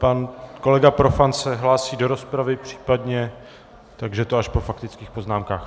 Pan kolega Profant se hlásí do rozpravy, případně, takže to až po faktických poznámkách.